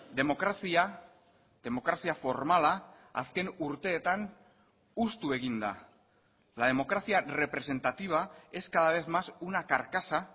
demokrazia demokrazia formala azken urteetan hustu egin da la democracia representativa es cada vez más una carcasa